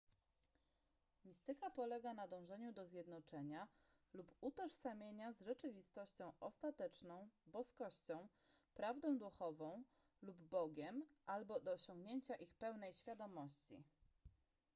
mistyka polega na dążeniu do zjednoczenia lub utożsamienia z rzeczywistością ostateczną boskością prawdą duchową lub bogiem albo do osiągnięcia ich pełnej świadomości